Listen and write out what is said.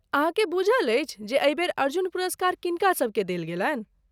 अहाँके बुझल अछि जे एहि बेर अर्जुन पुरस्कार किनकासबकेँ देल गेलनि?